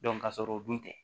ka sɔrɔ u dun tɛ